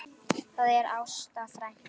Það er Ásta frænka.